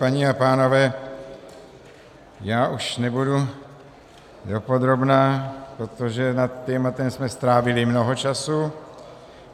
Paní a pánové, já už nebudu dopodrobna, protože nad tématem jsme strávili mnoho času.